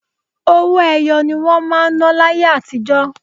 Owó ẹyọ ni wọ́n máa ń ná láyé àtijó.